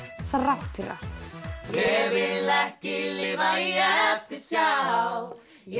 þrátt fyrir allt ég vil ekki lifa í eftirsjá ég